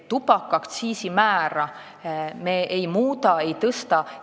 Tubakaaktsiisi määra me ei muuda, ei tõsta.